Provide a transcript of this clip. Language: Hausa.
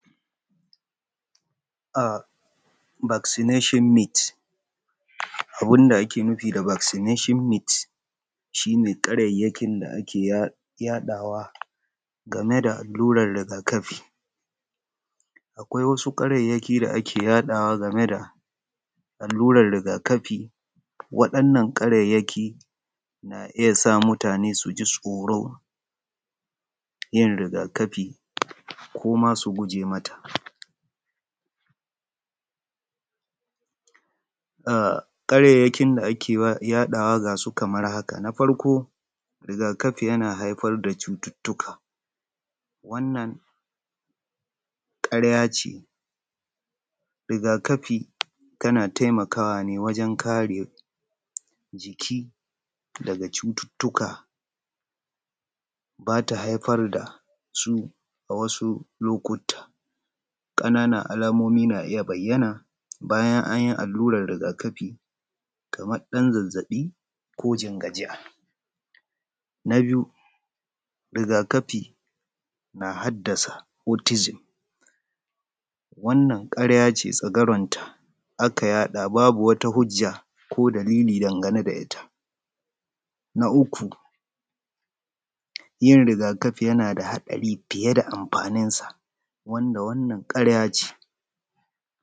Vaccination myths, abun da ake nufi da Vaccination myths shi karairayin da ake yaɗuwa game da alluran riga-kafi. Akwai wasu ƙarairayin da ake yaɗuwa game da allurar riga-kafi. Waɗannan ƙarairayi na iya sa mutane su ji tsoro yin riga-kafi ko.ma su guje mata. Karairayin da ake yaɗuwa ga su kamar haka, riga-kafi yana haifar da cututtuka, wannan ƙarya ce, riga-kafi yan taimakawa ne wajen kare jiki daga cututtuka ba ta haifar da su a wasu lokuta. Ƙananan alamomi na iya bayyan bayan an yi alluran riga kafi mafi ksmar dan zazabi. Na biyu riga-kafi na haddasa cultism wannna ƙarya ce babu wani ko wata hujja da ko dalili dangane da ita. Na uku yin riga-kafi yan ada haɗari fiye da amfaninsa, wanda wannan ƙarya ce